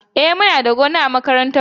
E, muna da gona a makarantar mu.